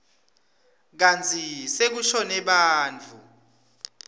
kantsi sekushone bantfu